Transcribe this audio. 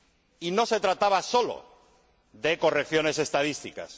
Y no se trataba solo de correcciones estadísticas.